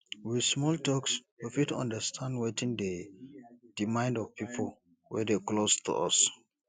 with small talks we fit understand wetin dey di mind of pipo wey dey close to us